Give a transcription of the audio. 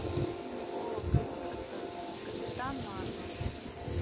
фильм пола гринграсса капитан марвел